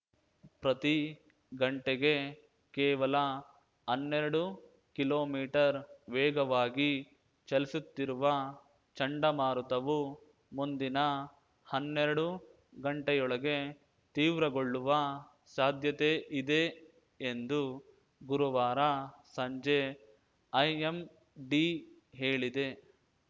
ಪ್ರತೀ ಗಂಟೆಗೆ ಕೇವಲ ಹನ್ನೆರಡು ಕಿಲೋಮೀಟರ್ ವೇಗವಾಗಿ ಚಲಿಸುತ್ತಿರುವ ಚಂಡಮಾರುತವು ಮುಂದಿನ ಹನ್ನೆರಡು ಗಂಟೆಯೊಳಗೆ ತೀವ್ರಗೊಳ್ಳುವ ಸಾಧ್ಯತೆಯಿದೆ ಎಂದು ಗುರುವಾರ ಸಂಜೆ ಐಎಂಡಿ ಹೇಳಿದೆ